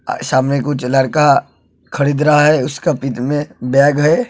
अ सामने कुछ लड़का खरीद रहा है उसके पीठ में बैग है।